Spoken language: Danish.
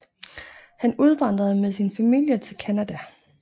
Han udvandrede med sin familie til Canada